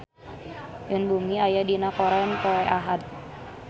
Yoon Bomi aya dina koran poe Ahad